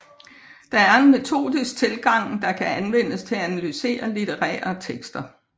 Det er en metodisk tilgang der kan anvendes til at analysere litterære tekster